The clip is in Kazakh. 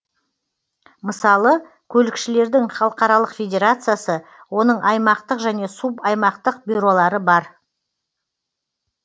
мысалы көлікшілердің халықаралық федерациясы оның аймақтық және субаймақтық бюролары бар